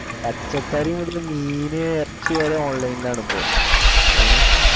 പച്ചക്കറി മുതല് മീന് ഇറച്ചി വരെ online ഇൽ ആണ് ഇപ്പൊ ഹേ